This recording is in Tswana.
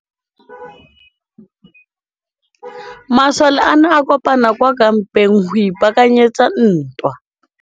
Masole a ne a kopane kwa kampeng go ipaakanyetsa ntwa.